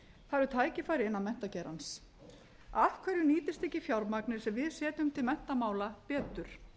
það eru tækifæri innan menntageirans af hverju nýtist ekki fjármagnið sem við setjum til menntamála betur